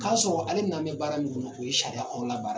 Ka sɔrɔ ale nan bɛ baara min ɲinin u ye sariya kɔrɔ la baara ye.